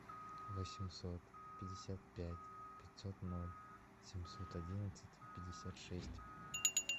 восемьсот пятьдесят пять пятьсот ноль семьсот одиннадцать пятьдесят шесть